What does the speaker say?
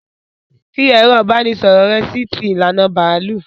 Fi ẹ̀rọ ìbánisọ̀rọ̀ rẹ sí ti ìlànà bàálù!